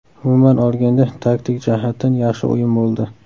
Umuman olganda, taktik jihatdan yaxshi o‘yin bo‘ldi.